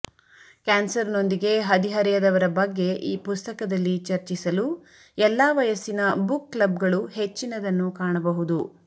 ಕ್ಯಾನ್ಸರ್ನೊಂದಿಗೆ ಹದಿಹರೆಯದವರ ಬಗ್ಗೆ ಈ ಪುಸ್ತಕದಲ್ಲಿ ಚರ್ಚಿಸಲು ಎಲ್ಲಾ ವಯಸ್ಸಿನ ಬುಕ್ ಕ್ಲಬ್ಗಳು ಹೆಚ್ಚಿನದನ್ನು ಕಾಣಬಹುದು